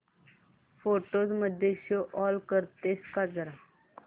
photos मध्ये show all करतेस का जरा